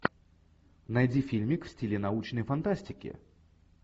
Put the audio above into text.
найди фильмик в стиле научной фантастики